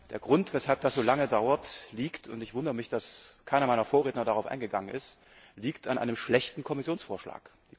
Der Grund, weshalb das so lange dauert, liegt und ich wundere mich, dass keiner meiner Vorredner darauf eingegangen ist an einem schlechten Kommissionsvorschlag.